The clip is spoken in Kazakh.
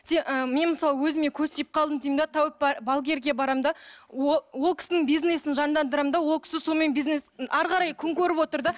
ы мен мысалы өзіме көз тиіп қалдым деймін де тәуіп балгерге барамын да ол кісінің бизнесін жандандырамын да ол кісі сонымен әрі қарай күн көріп отыр да